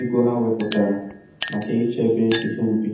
ego ha weputara make ịchebe ihe ubi